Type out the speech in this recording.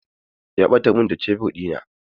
Ya ɓatar min da shebur ɗina.